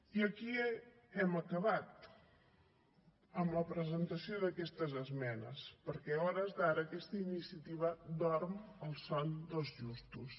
i aquí hem acabat amb la presentació d’aquestes esmenes perquè a hores d’ara aquesta iniciativa dorm el son dels justos